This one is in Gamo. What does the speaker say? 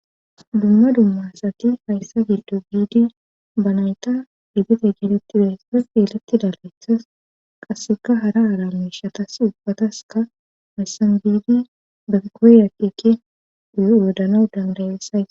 dumma dummasati hayssa giddo biidi ba nayta higete geetettiday sa fielettida lethas qasseka hara aala miishatas ubbataska miyssan biidi bekoyyakeke uyo wodana dangayessay